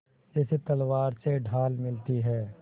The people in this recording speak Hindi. जैसे तलवार से ढाल मिलती है